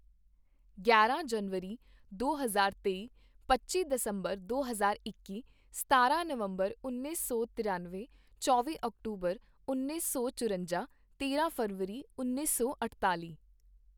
ਗਿਆਰਾਂ ਜਨਵਰੀ ਦੋ ਹਜ਼ਾਰ ਤੇਈ ਪੱਚੀ ਦਸੰਬਰ ਦੋ ਹਜ਼ਾਰ ਇੱਕੀ ਸਤਾਰਾਂ ਨਵੰਬਰ ਉੱਨੀ ਸੌ ਤ੍ਰਿਆਨਵੇਂ ਚੌਵੀ ਅਕਤੂਬਰ ਉੱਨੀ ਸੌ ਚੁਰੰਜਾ ਤੇਰਾਂ ਫ਼ਰਵਰੀ ਉੱਨੀ ਸੌ ਅਠਤਾਲ਼ੀ